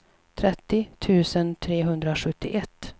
trettio tusen trehundrasjuttioett